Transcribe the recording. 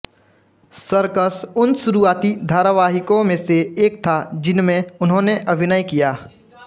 circus उन शुरूआती धारावाहिकों में से एक था जिनमें उन्होंने अभिनय किया